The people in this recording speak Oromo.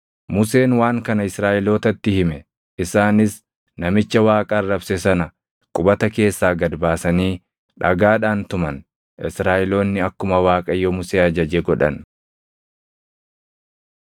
Museen waan kana Israaʼelootatti hime; isaanis namicha Waaqa arrabse sana qubata keessaa gad baasanii dhagaadhaan tuman; Israaʼeloonni akkuma Waaqayyo Musee ajaje godhan.